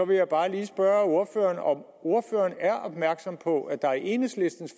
vil jeg bare lige spørge ordføreren om ordføreren er opmærksom på at der i enhedslistens